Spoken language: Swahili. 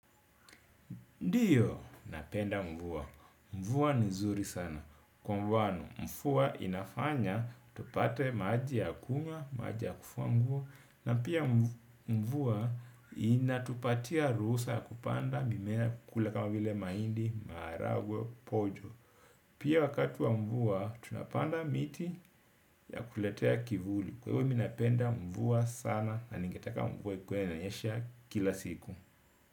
Ndiyo, napenda mvua. Mvua ni nzuri sana. Kwa mfano, mvua inafanya, tupate maji ya kunywa, maji ya kufua nguo. Na pia mvua, inatupatia ruhusa ya kupanda, mimea kule kama vile mahindi, maharagwe, pojo. Pia wakati wa mvua, tunapanda miti ya kuletea kivuli. Kwa hivyo, mimi napenda mvua sana na ningetaka mvua ikue inanyesha kila siku.